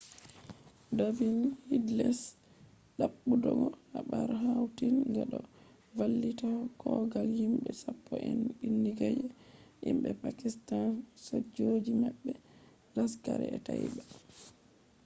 david headley`s dabbutogo habar hautin ga do vallita kogal himbe sapppo en bindiga je himbe pakistanisojoji mabbe laskhar-e-taiba